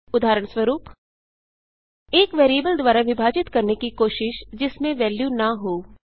उदहारणस्वरूप एक वेरिएबल द्वारा विभाजित करने की कोशिश जिसमें वेल्यू न हो